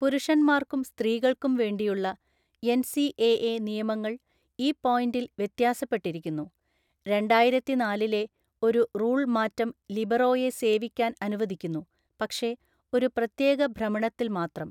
പുരുഷന്മാർക്കും സ്ത്രീകൾക്കും വേണ്ടിയുള്ള എന്‍.സി.എ.എ. നിയമങ്ങൾ ഈ പോയിന്റിൽ വ്യത്യാസപ്പെട്ടിരിക്കുന്നു; രണ്ടായിരത്തിനാലിലെ ഒരു റൂൾ മാറ്റം ലിബറോയെ സേവിക്കാൻ അനുവദിക്കുന്നു, പക്ഷേ ഒരു പ്രത്യേക ഭ്രമണത്തിൽ മാത്രം.